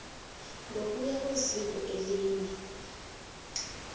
ngokuya kweziko elinye